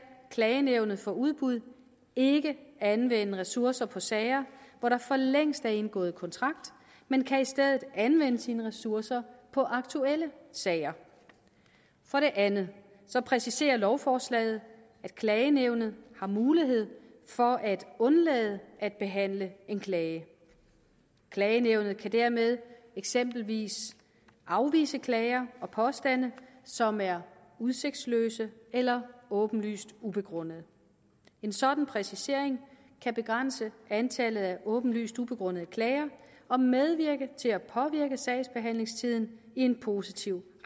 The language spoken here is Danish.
klagenævnet for udbud ikke anvende ressourcer på sager hvor der for længst er indgået kontrakt men kan i stedet anvende sine ressourcer på aktuelle sager for det andet præciserer lovforslaget at klagenævnet har mulighed for at undlade at behandle en klage klagenævnet kan dermed eksempelvis afvise klager og påstande som er udsigtsløse eller åbenlyst ubegrundede en sådan præcisering kan begrænse antallet af åbenlyst ubegrundede klager og medvirke til at påvirke sagsbehandlingstiden i en positiv